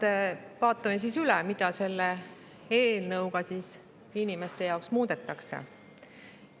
Esmalt vaatame üle, mida selle eelnõuga inimeste jaoks muudetakse.